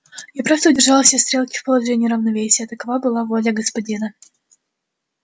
я просто удержал все стрелки в положении равновесия такова была воля господина